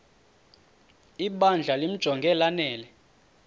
ibandla limjonge lanele